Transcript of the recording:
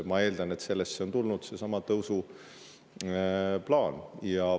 Ma eeldan, et sellest on seesama tõusuplaan.